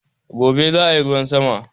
Gobe zaayi ruwan sama